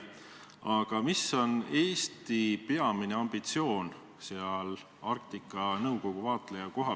Aga mis on Eesti peamine ambitsioon seal Arktika Nõukogus?